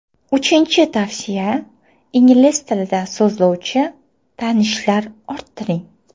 Uchinchi tavsiya ingliz tilida so‘zlashuvchi tanishlar orttiring.